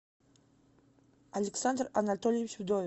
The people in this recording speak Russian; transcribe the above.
александр анатольевич вдовин